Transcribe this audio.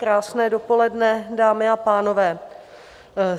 Krásné dopoledne, dámy a pánové.